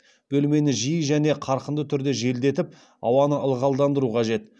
бөлмені жиі және қарқынды түрде желдетіп ауаны ылғалдандыру қажет